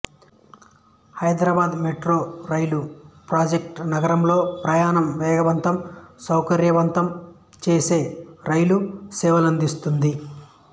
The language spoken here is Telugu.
హైదరాబాదు మెట్రో రైలు ప్రాజెక్టు నగరంలో ప్రయాణం వేగవంతం సౌకర్యవంతం చేసే రైలు సేవలనందిస్తోంది